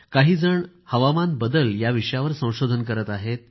काहीजण हवामान बदल याविषयावर संशोधन करत आहे